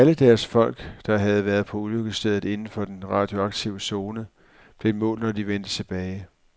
Alle deres folk, der havde været på ulykkesstedet inden for den radioaktive zone, blev målt, når de vendte tilbage.